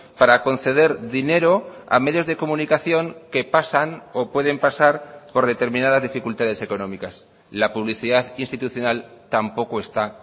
para conceder dinero a medios de comunicación que pasan o pueden pasar por determinadas dificultades económicas la publicidad institucional tampoco está